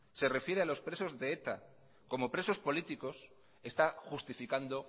se refiere a los presos de eta como presos políticos está justificando